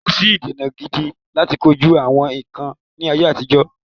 kòsí ìdènà gidi láti kojú “àwọn ikán” ni àtijọ.